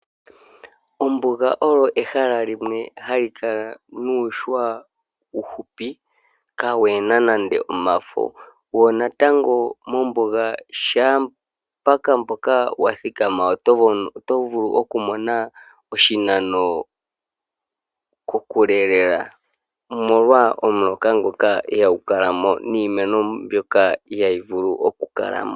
Ombuga olyo ehala limwe hali kala nuuhwa uufupi kaawu na nando omafo. Shaampoka wa thikama mombuga oto vulu okumona kokule lela omolwa omuloka ngoka ihagu kala mo niimeno mbyoka ihayi vulu okukala mo.